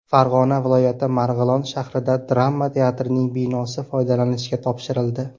Farg‘ona viloyati Marg‘ilon shahrida drama teatrining binosi foydalanishga topshirildi.